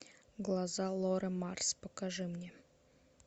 глаза лоры марс покажи мне